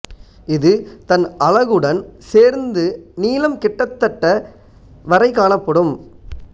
இது தன் அலகுடன் சேர்ந்து நீளம் கிட்டத்தட்ட வரை காணப்படும்